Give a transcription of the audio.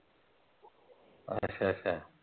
ਅੱਛਾ ਅੱਛਾ।